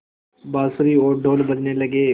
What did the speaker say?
बाँसुरी और ढ़ोल बजने लगे